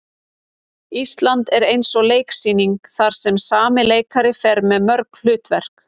Ísland er eins og leiksýning þar sem sami leikari fer með mörg hlutverk.